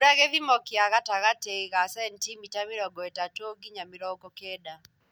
Mbura gĩthimo kĩa gatagatĩ ga centimita mĩrongo ĩtatu nginya mĩrongo kenda.